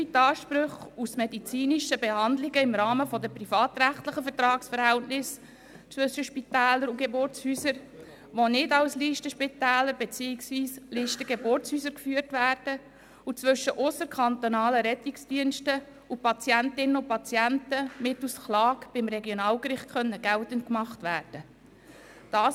So sollen die Ansprüche gleich wie jene aus medizinischen Behandlungen im Rahmen der privatrechtlichen Vertragsverhältnisse zwischen Spitälern und Geburtshäusern, welche nicht als Listenspitäler beziehungsweise Listengeburtshäuser geführt werden, und zwischen ausserkantonalen Rettungsdiensten und Patientinnen und Patienten mittels Klage beim Regionalgericht geltend gemacht werden können.